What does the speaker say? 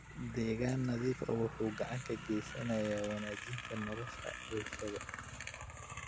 Deegaan nadiif ah wuxuu gacan ka geysanayaa wanaajinta nolosha bulshada.